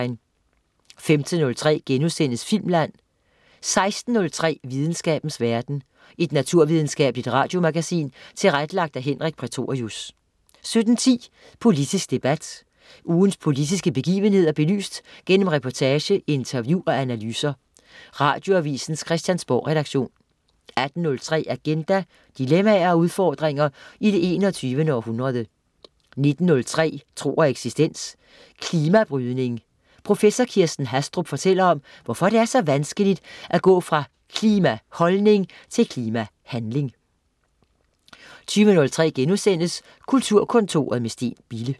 15.03 Filmland* 16.03 Videnskabens verden. Et naturvidenskabeligt radiomagasin tilrettelagt af Henrik Prætorius 17.10 Politisk debat. Ugens politiske begivenheder belyst gennem reportage, interview og analyser. Radioavisens Christiansborgredaktion 18.03 Agenda. Dilemmaer og udfordringer i det 21. århundrede 19.03 Tro og eksistens. Klimabrydning. Professor Kirsten Hastrup fortæller om, hvorfor det er så vanskeligt at gå fra klimaholdning til klimahandling 20.03 Kulturkontoret, med Steen Bille*